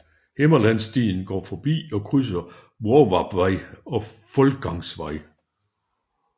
Himmerlandsstien går forbi og krydser Hvorvarpvej og Foldgangsvej